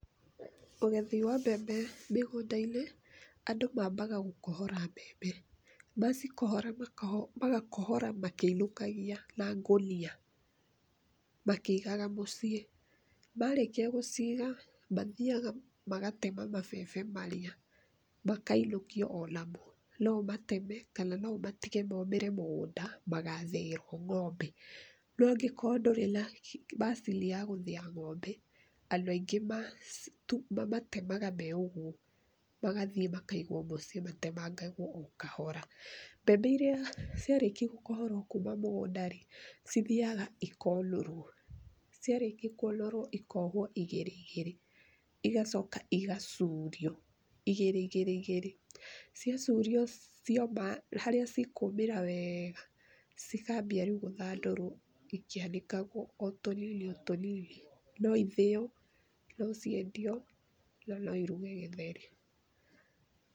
Ũgethi wa mbembe mĩgũndainĩ andũ mambaga gũkohora mbembe, macikohora magakohora makĩinũkagia na ngũnia makĩigaga mũciĩ. Marĩkia gũciga mathiaga magatema mabebe marĩa makainũkio namo. No ũmateme kana ũmatige momĩre mĩgũnda magathĩĩrwo ng'ombe no angĩkorwo ndũrĩ na macini ya gũthĩĩra ng'ombe andũ aingĩ mamatemaga marĩ ũguo magathie makaigwo mũciĩ matemangagwo o kahora, mbembe iria ciarĩkia gũkohorwo kuma mũgũnda rĩ cithiaga cikonũrwo, ciarĩkia kũnũrwo ikohwo igĩrĩ igĩrĩ igacoka igacurio igĩrĩ igĩri igĩrĩ ciacurio harĩa ikũmĩra wega cikambia rĩu gũthandũrwo ikĩanĩkagwo o tũnini o tũnini. No ithĩywo, no ciendio na no iruge githeri.